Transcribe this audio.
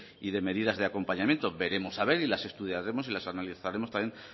y de medidas de acompañamiento veremos a ver y las estudiaremos y las analizaremos también